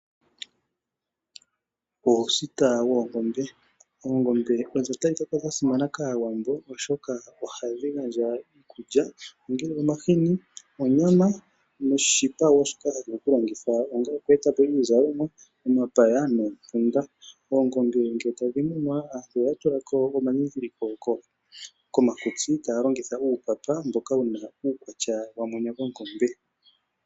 Uusita woongombe, oongombe odha simana kAawambo oshoka ohadhi gandja iikulya ongele omahini, onyama noshipa wo shoka hashi vulu okulongithwa ongo oku e ta po iizalomwa, omapaya noompunda. Oongombe ngele tadhi munwa aantu ohaya tula ko omandhindhiliko komakutsi taya longitha uupapa mboka wuna uukwatya wa mwene gongombe.